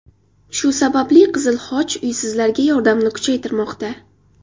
Shu sababli Qizil Xoch uysizlarga yordamni kuchaytirmoqda.